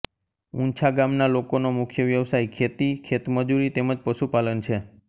ઉંછા ગામના લોકોનો મુખ્ય વ્યવસાય ખેતી ખેતમજૂરી તેમ જ પશુપાલન છે